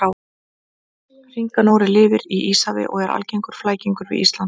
Hringanóri lifir í Íshafi og er algengur flækingur við Ísland.